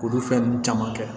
K'olu fɛn ninnu caman kɛ